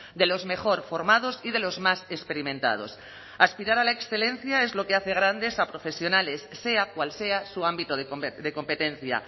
de los mejor formados y de los más experimentados aspirar a la excelencia es lo que hace grandes a profesionales sea cual sea su ámbito de competencia